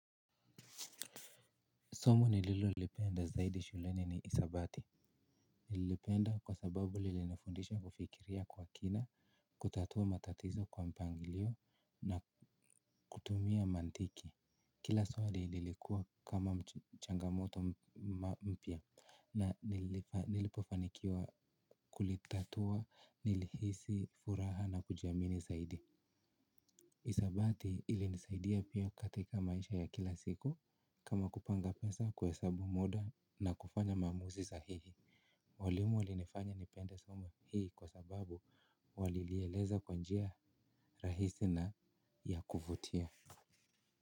Somo nililo lipenda zaidi shuleni ni hisabati. Nilipenda kwa sababu lilinifundisha kufikiria kwa kina, kutatua matatizo kwa mpangilio na kutumia mantiki. Kila swali lilikua kama changamoto mpya na nilipofanikiwa kulitatua, nilihisi, furaha na kujiamini zaidi. Hisabati ili nisaidia pia katika maisha ya kila siku kama kupanga pesa kuhesabu muda na kufanya mamuzi sahihi. Walimu walinifanya nipende suma hii kwa sababu walilieleza kwa njia rahisi na ya kuvutia.